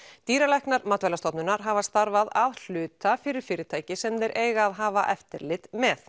dýralæknar Matvælastofnunar hafa starfað að hluta fyrir fyrirtæki sem þeir eiga að hafa eftirlit með